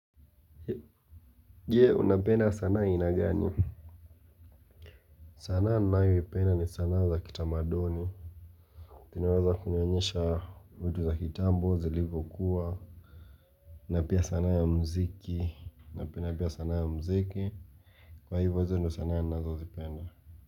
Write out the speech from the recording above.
Je unapenda sanaa aina gani sanaa nayo ipenda ni sanaa za kitamaduni inawaza kunionyesha uju za kitambo zilivokuwa na pia sanaa ya mziki napenda pia sanaa ya mziki kwa hivyo hizo ndo sanaa ya nazo zipenda.